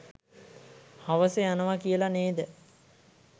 හවස යනව කියල නේද?